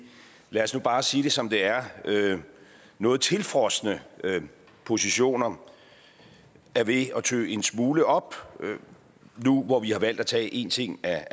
lad os nu bare sige det som det er noget tilfrosne positioner er ved at tø en smule op nu hvor vi har valgt at tage en ting ad